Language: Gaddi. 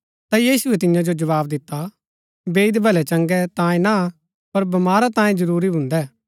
ता यीशुऐ तियां जो जवाव दिता बैईद भलैचंगै तांयें ना पर बीमारा तांयें जरूरी भून्दै